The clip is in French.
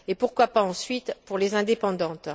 pourquoi pas, ensuite, pour les indépendantes.